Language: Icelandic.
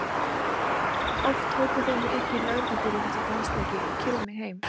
Oft tóku þeir mig upp í lögreglubílinn eftir dansleiki og keyrðu mig heim.